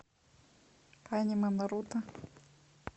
аниме наруто